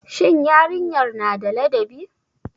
Shin yarinyar na da ladabi.